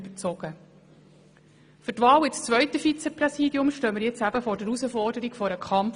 Für die Wahl in das zweite Vizepräsidium stehen wir nun eben vor der Herausforderung einer Kampfwahl.